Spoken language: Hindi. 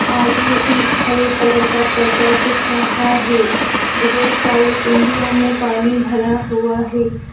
आगे एक हरे कलर का पर्दा दिख रहा है बहुत सारी कुंजियों में पानी भरा हुआ है।